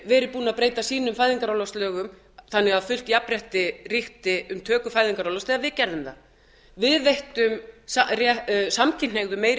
verið búin að breyta sínum fæðingarorlofslögum þannig að fullt jafnrétti ríkti um töku fæðingarorlofs þegar við gerðum það við veittum samkynhneigðum meiri